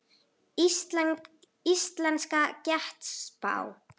Íslensk getspá.